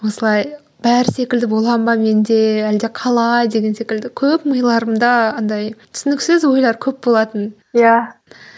осылай бәрі секілді боламын ба мен де әлде қалай деген секілді көп миларымда андай түсініксіз ойлар көп болатын иә